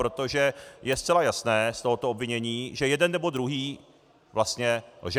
Protože je zcela jasné z tohoto obvinění, že jeden nebo druhý vlastně lže.